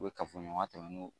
U bɛ kafoɲɔgɔnya tɛmɛn n'o